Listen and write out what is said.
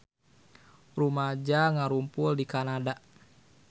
Rumaja ngarumpul di Kanada